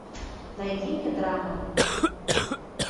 найди мне драмы